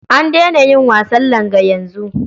An daina yin wasan langa yanzu.